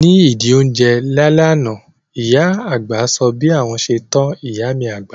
Ní ìdí ó ń jẹ lá lẹ́ àná, ìyá àgbà sọ bí àwọn ṣe tọ́ ìyá mi dàgbà